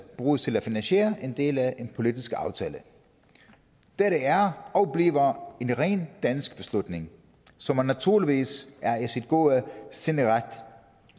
bruges til at finansiere en del af en politisk aftale dette er og bliver en ren dansk beslutning som man naturligvis er i sin gode ret